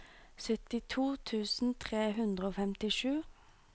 syttito tusen tre hundre og femtisju